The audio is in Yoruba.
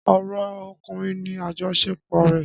Ọ̀rọ̀ ọkùnrin ni àjọṣepọ̀ rẹ̀.